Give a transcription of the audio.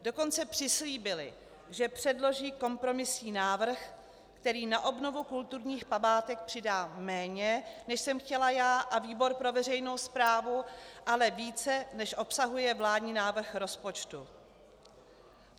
Dokonce přislíbili, že předloží kompromisní návrh, který na obnovu kulturních památek přidá méně, než jsem chtěla já a výbor pro veřejnou správu, ale více, než obsahuje vládní návrh rozpočtu.